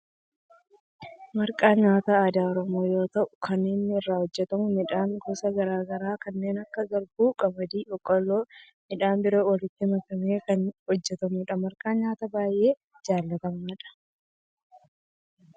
Marqaan nyaata aadaa oromoo yoo ta'u kan inni irraa hojjetamu midhaan gosa garaa garaa kanneen akka garbuu, qamadii, boqqolloo fi midhaan biroo walitti makamee kan hojjetamudha. Marqaan nyaata baayyee jaalatamaadha.